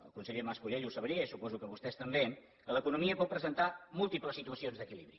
el conseller mas colell ho sabria i suposo que vostès també que l’economia pot presentar múltiples situacions d’equilibri